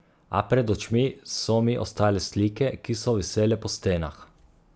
A pred očmi so mi ostale slike, ki so visele po stenah.